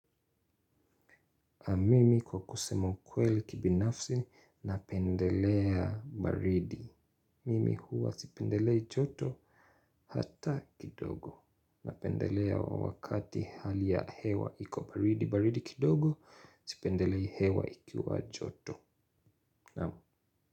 Mimi kwa kusema ukweli kibinafsi, napendelea baridi. Mimi huwa sipendelei joto hata kidogo. Napendelea wakati hali ya hewa iko baridi. Baridi kidogo, sipendelei hewa ikiwa joto.